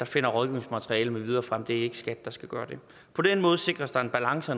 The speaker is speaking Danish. finder rådgivningsmateriale med videre frem det er ikke skat der skal gøre det på den måde sikres der en balance